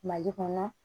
Mali kɔnɔ